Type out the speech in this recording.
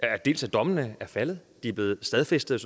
rigtigt at dommene er faldet de er blevet stadfæstet